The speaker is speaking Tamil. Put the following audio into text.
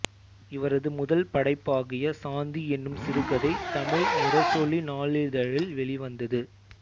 இவரது முதல் படைப்பாகிய சாந்தி எனும் சிறுகதை தமிழ் முரசு நாளிதழில் வெளிவந்தது